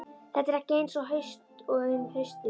Þetta er ekki eins haust og um haustið.